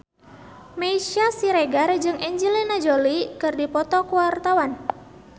Meisya Siregar jeung Angelina Jolie keur dipoto ku wartawan